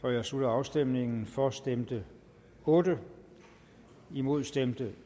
jeg slutter afstemningen for stemte otte imod stemte